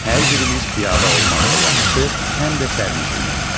Hər birimiz piyada olmaqla yanaşı, həm də sərnişinik.